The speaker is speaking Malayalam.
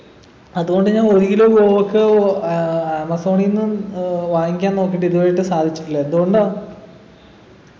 അതുകൊണ്ട് ഞാൻ ഒരു kilo ആഹ് ആമസോണിന്നും ഏർ വാങ്ങിക്കാൻ നോക്കീട്ട് ഇതുവരെയായിട്ടും സാധിച്ചിട്ടില്ല എന്തുകൊണ്ടാ